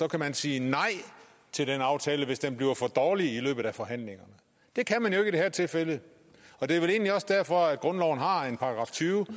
kan man sige nej til en aftale hvis den bliver for dårlig i løbet af forhandlingerne det kan man jo ikke i det her tilfælde og det er vel egentlig også derfor at grundloven har en § tyve